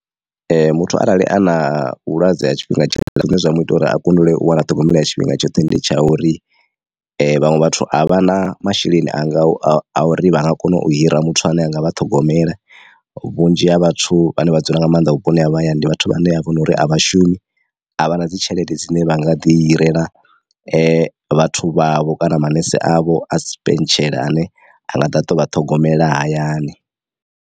Ee muthu arali a na vhulwadze ha tshifhinga tshoṱhe zwine zwa mu ita uri a kundelwe u wana ṱhogomelo ya tshifhinga tshoṱhe ndi tsha uri vhaṅwe vhathu a vha na masheleni anga a uri vha nga kona u hira muthu ane anga vha ṱhogomela vhunzhi ha vhathu vhane vha dzula nga maanḓa vhuponi ha mahayani ndi vhathu vhane a vho nori a vhashumi a vha na dzi tshelede dzine vha nga ḓi hirela vhathu vhavho kana manese avho a si tshipentshela ane anga ḓa a tovha ṱhogomela hayani.